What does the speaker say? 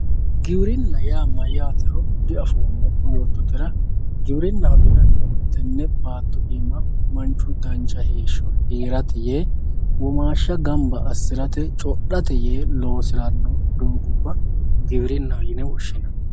giwirinna yaa mayyatero diafoommo yoottotera giwirinnaho yinannihu tenne baatto iima manchu dancha heeshsho heerate yee womaashsha gamba assirate yee codhanno doogubba giwirinnaho yine woshshinanni.